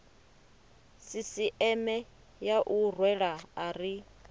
sisieme ya u rwela ari